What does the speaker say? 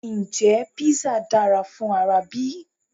Ǹjẹ́ Písà dára fún ara bí?